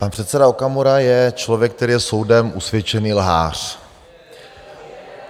Pan předseda Okamura je člověk, který je soudem usvědčený lhář.